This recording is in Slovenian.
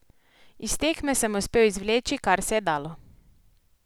Iz tekme sem uspel izvleči, kar se je dalo.